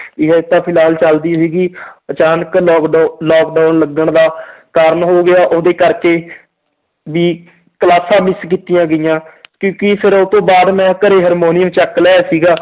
ਵੀ ਹਜੇ ਤਾਂ ਫਿਲਹਾਲ ਚੱਲਦੀ ਸੀਗੀ ਅਚਾਨਕ ਲੋਕਡਾਊ lockdown ਲੱਗਣ ਦਾ ਕਾਰਨ ਹੋ ਗਿਆ ਉਹਦੇ ਕਰਕੇ ਵੀ ਕਲਾਸਾਂ miss ਕੀਤੀਆਂ ਗਈਆਂ ਫਿਰ ਉਹ ਤੋਂ ਬਾਅਦ ਮੈਂ ਘਰੇ ਹਰਮੋਨੀਅਮ ਚੁੱਕ ਲਿਆਇਆ ਸੀਗਾ